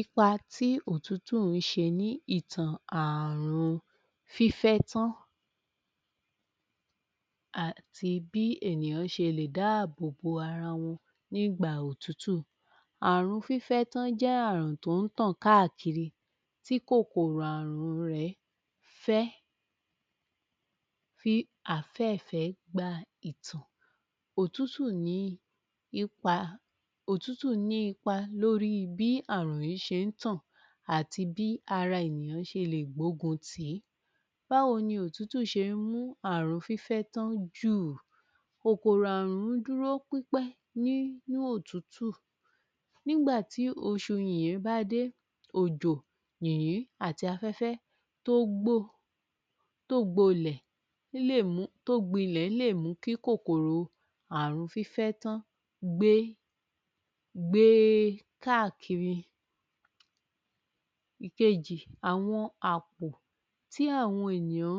Ipa tí òtútù ń ṣe ní ìtàn àrùn fífẹ́ tán àti bí ènìyàn se lè dáàbòbo ara wọn ní ìgbà òtútù Àrùn fífẹ́ tán ń jẹ́ àrùn tó ń tàn káakiri tí kòkòrò àrùn rẹ̀ fẹ́ fi àfẹ́ẹ̀fẹ́ gba òtútù ní Ipa òtútù ní ipa lórí bí àrùn yìí ṣe ń tàn àti bí ara ènìyàn ṣe lè gbógun tì í Báwo ní òtútù ṣe ń mú àrùn fịfẹ́ tán jùv kòkòrò àrùn ń dúró pípẹ́ nínú òtútù nígbà tí oṣù yìyín bá dé òjò yìyín àti àfẹ́fẹ́ tó gbó tó gbolẹ̀ tó gbilẹ̀ lè mú kí kòkòrò àrùn fífẹ́ tán gbé gbé káàkiri Àwọn àpò tí àwọn ènìyàn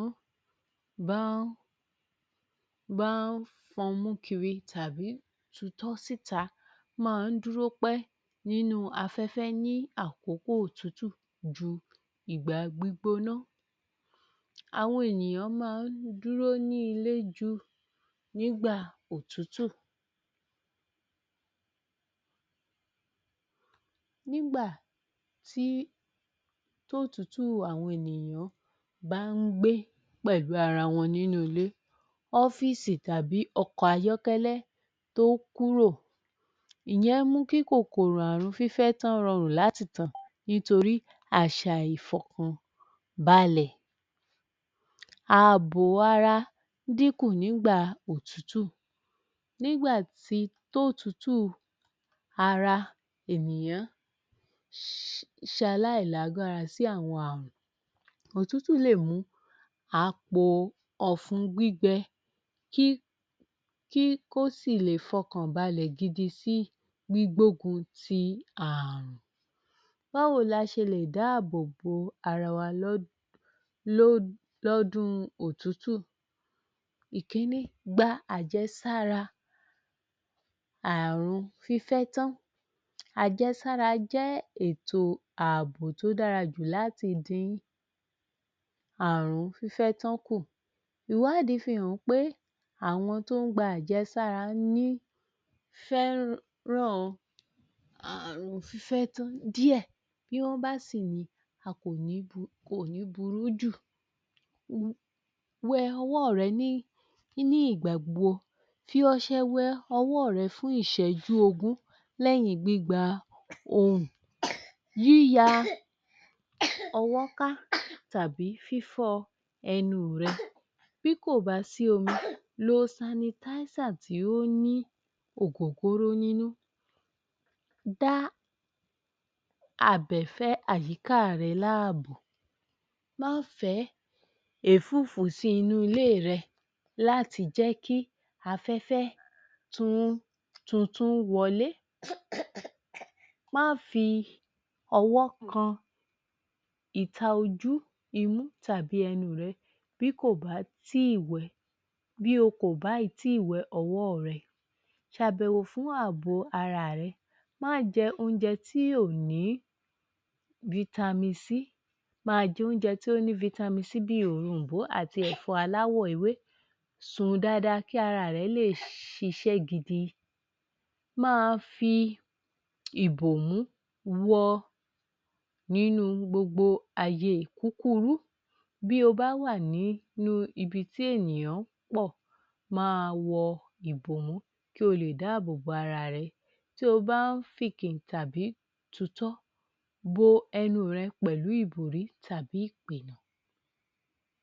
bá ń fọnú kiri tàbí bọ́ síta máa ń dúró pẹ́ nínú afẹ́fẹ́ ní àkókó òtútù ìgbà gbígbóná àwọn ènìyàn máa ń dúró ní ilé ju nígbà òtútù tí òtútù àwọn ènìyàn bá ń gbé pẹ̀lú ara wọn nínú ilé ọ́fíìsì tàbí ọkọ̀ ayọ́kẹ́lẹ́ tó kúrò ìyẹ́n mú kí kòkòrò àrùn fífẹ́ tan rọrùn láti tàn nítorí àṣà ìfọ̀kàn balẹ̀ ààbò ara dín kù nígbà òtútù nígbà tí òtútù ara ènìyàn ṣe aláìlágbára sí àwọn àrùn òtútù lè mú a po ọ̀fun gbígbẹ kí kí kó sì lè fọkàn balẹ̀ gidi sí gbígbógun ti àrùn Báwo la ṣe lè dáàbòbò ara wa lọ́dún lọ́dún òtútù Ìkinní, gba àjẹsára àrùn fífẹ́ tán Àjẹsára jẹ́ ètò ààbò tó dára jù láti dín àrùn fífẹ́ tán kù Ìwádìí fihàn pé àwọn tó ń gba àjẹsára ní fẹ́ràn àrùn fífẹ́ tán díẹ̀ bí wọ́n bá sì ni kò ní burú jù wẹ ọwọ́ rẹ ní ìgbà gbogbo fi ọṣẹ wẹ ọwọ́ rẹ fún ìṣẹ́jú ogún lẹ́yìn gbígba ohùn yíya tàbí fífọ ẹnu rẹ bí kò bá sí omi lo sanitizer tí ó ní ògógóró nínú bá àbẹ̀fẹ́ àyíká rẹ láàbò má fẹ́ ẹ̀fúùfù sí ilé rẹ̀ láti jẹ́ kí afẹ́fẹ́ tuntun wọlé Má fi ọwọ́ kan ìta ojú, imú tàbí ẹnu rẹ bí o kò bá ì ti wẹ ọwọ́ rẹ ṣàbẹ̀wò fún ààbò ara rẹ má jẹ oúnjẹ tí kò ní vitamin c Máa jẹ oúnjẹ tó ní vitamin C bí òrom̀bó àti ẹ̀fọ́ aláwọ̀ ewé sùn dáadáa kí ara rẹ lè ṣiṣẹ́ gidi máa wọ ìbòmú nínú gbogbo ààyè kúkurú Bí o bá wà ní ibi tí àwọn ènìyàn pọ̀ máa wọ ìbòmú kí o lè dáàbòbò ara rẹ tí o bá ń fìnkìn tàbí tu ìtọ́